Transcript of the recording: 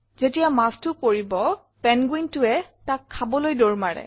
যেতিয়া মাছটো পৰিব penguinটোৱে তাক খাবলৈ দৌৰ মাৰে